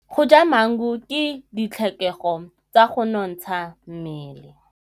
Go ja maungo ke ditlhokegô tsa go nontsha mmele.